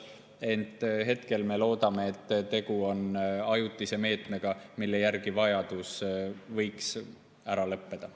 Ent hetkel me loodame, et tegu on ajutise meetmega, vajadus selle järele võiks ära lõppeda.